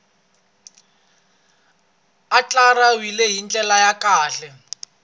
andlariwile hi ndlela ya kahle